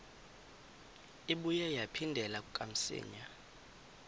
ibuye yaphindela kamsinya